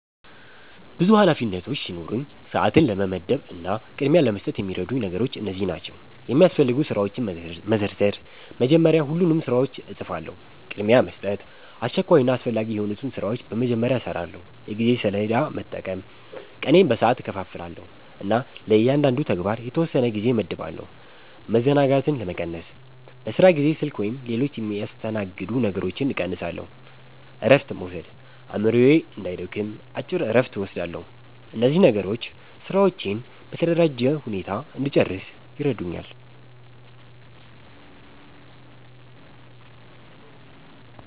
ብዙ ኃላፊነቶች ሲኖሩኝ፣ ሰዓትን ለመመደብ እና ቅድሚያ ለመስጠት የሚረዱኝ ነገሮች እነዚህ ናቸው፦ የሚያስፈልጉ ስራዎችን መዘርዘር – መጀመሪያ ሁሉንም ስራዎች እጽፋለሁ። ቅድሚያ መስጠት – አስቸኳይና አስፈላጊ የሆኑትን ስራዎች በመጀመሪያ እሰራለሁ። የጊዜ ሰሌዳ መጠቀም – ቀኔን በሰዓት እከፋፍላለሁ እና ለእያንዳንዱ ተግባር የተወሰነ ጊዜ እመድባለሁ። መዘናጋትን መቀነስ – በስራ ጊዜ ስልክ ወይም ሌሎች የሚያስተናግዱ ነገሮችን እቀንሳለሁ። እረፍት መውሰድ – አእምሮዬ እንዳይደክም አጭር እረፍት እወስዳለሁ። እነዚህ ነገሮች ስራዎቼን በተደራጀ ሁኔታ እንድጨርስ ይረዱኛል።